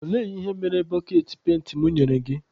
Olee ihe ị mere boketị penti mụ nyere gị?